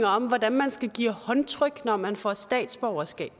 om hvordan man skal give håndtryk når man får statsborgerskab